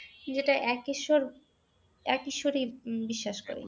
যেটা একঈশ্বর একঈশ্বর উম বিশ্বাস করে।